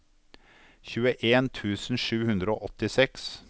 tjueen tusen sju hundre og åttiseks